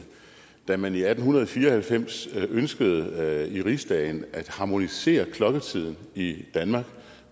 da man i atten fire og halvfems ønskede i rigsdagen at harmonisere klokketiden i danmark